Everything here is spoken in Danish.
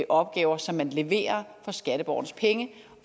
opgaver som man leverer for skatteborgernes penge